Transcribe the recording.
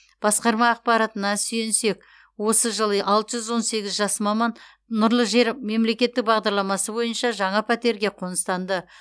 басқарма ақпаратына сүйенсек осы жылы алты жүз он сегіз жас маман нұрлы жер мемлекеттік бағдарламасы бойынша жаңа пәтерге қоныстанды